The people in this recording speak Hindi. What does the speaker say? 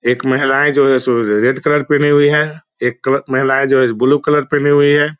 एक महिलाएं जो रेड कलर पेहने हुई हैं एक महिलाएं जो है ब्लू कलर पेहने हुई हैं ।